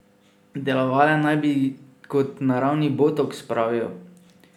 Delovale naj bi kot naravni botoks, pravijo.